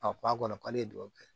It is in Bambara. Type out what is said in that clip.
A b'a kɔnɔ k'ale ye duwawu kɛ